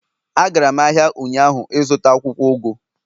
Agara m ahia ụnyaahụ ịzụta akwukwo ugu